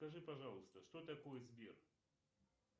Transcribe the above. скажи пожалуйста что такое сбер